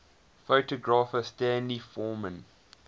photographer stanley forman